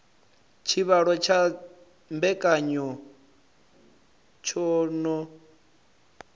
tshivhalo tsha mbekanya tsho no